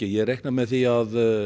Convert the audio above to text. ég reikna með því að